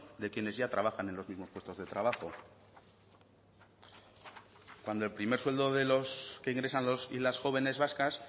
de quienes ya trabajan en los mismos puestos de trabajo cuando el primer sueldo de lo que ingresan los y las jóvenes vascas